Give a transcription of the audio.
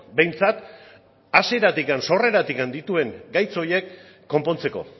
behintzat hasieratik sorreratik dituen gaitz horiek konpontzeko